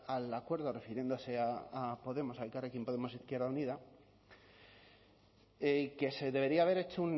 al acuerdo refiriéndose a podemos a elkarrekin podemos izquierda unida que se debería haber hecho